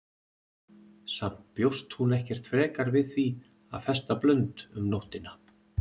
Samt bjóst hún ekkert frekar við því að festa blund um nóttina.